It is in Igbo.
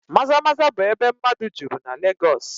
Maza-Maza bụ ebe mmadụ juru na Legọs